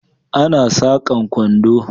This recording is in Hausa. Ana sakan kwando